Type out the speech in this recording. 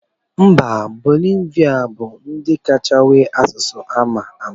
Mba bolivia bu ndi kachasi nwee asụsụ amama.